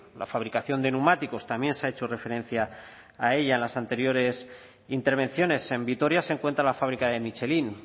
la fabricación de neumáticos también se ha hecho referencia a ella en las anteriores intervenciones en vitoria se encuentra la fábrica de michelin